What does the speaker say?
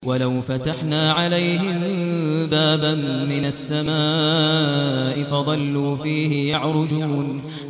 وَلَوْ فَتَحْنَا عَلَيْهِم بَابًا مِّنَ السَّمَاءِ فَظَلُّوا فِيهِ يَعْرُجُونَ